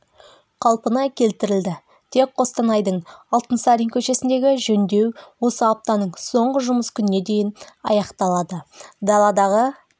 қалпына келтірілді тек қостанайдың алтынсарин көшесіндегі жөндеу осы аптаның соңғы жұмыс күніне дейін аяқталады даладағы